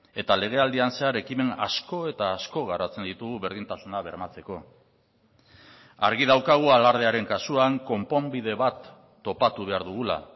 eta legealdian zehar ekimen asko eta asko garatzen ditugu berdintasuna bermatzeko argi daukagu alardearen kasuan konponbide bat topatu behar dugula